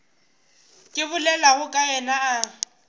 ke bolelago ka yena a